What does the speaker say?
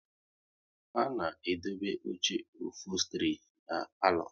A na edobe oche ofostri na palo